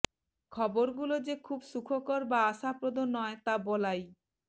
খবরগুলো যে খুব সুখকর বা আশাপ্রদ নয় তা বলাই